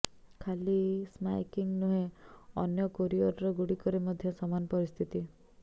ଖାଲି ସ୍କାଏକିଙ୍ଗ୍ ନୁହେଁ ଅନ୍ୟ କୋରିଅରର ଗୁଡ଼ିକରେ ମଧ୍ୟ ସମାନ ପରିସ୍ଥିତି